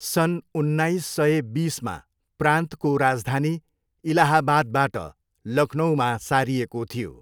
सन् उन्नाइस सय बिसमा प्रान्तको राजधानी इलाहाबादबाट लखनऊमा सारिएको थियो।